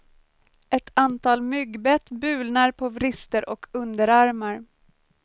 Ett antal myggbett bulnar på vrister och underarmar.